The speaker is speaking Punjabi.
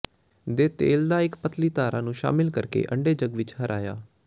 ਦੇ ਤੇਲ ਦਾ ਇੱਕ ਪਤਲੀ ਧਾਰਾ ਨੂੰ ਸ਼ਾਮਿਲ ਕਰਕੇ ਅੰਡੇ ਝੱਗ ਵਿੱਚ ਹਰਾਇਆ